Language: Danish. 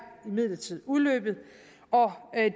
imidlertid udløbet og